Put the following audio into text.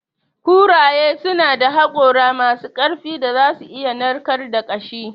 Kuraye suna da hakora masu ƙarfin da za su iya narkar da ƙashi.